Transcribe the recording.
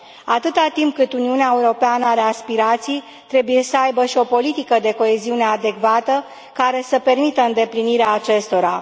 Atâta timp cât Uniunea Europeană are aspirații, trebuie să aibă și o politică de coeziune adecvată care să permită îndeplinirea acestora.